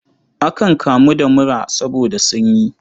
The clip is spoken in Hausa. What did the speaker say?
Akan kamu da mura saboda sanyi.